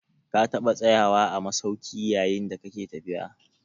Ka taɓa tsayawa a masauki yayin da kake tafiya?